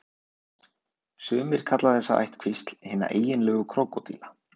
Sumir kalla þessa ættkvísl hina eiginlegu krókódíla.